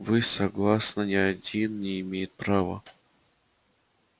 вы согласно ни один не имеет права